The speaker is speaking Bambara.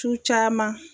Su caman